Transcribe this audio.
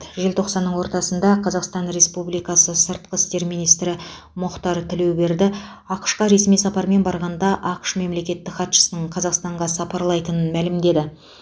желтоқсанның ортасында қазақстан республикасы сыртқы істер министрі мұхтар тілеуберді ақш қа ресми сапармен барғанда ақш мемлекеттік хатшысының қазақстанға сапарлайтынын мәлімдеді